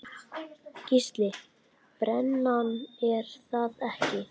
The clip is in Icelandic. Gísli:. brennan er það ekki?